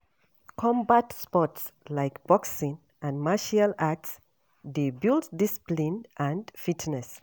Combat sports like boxing and martial arts dey build discipline and fitness.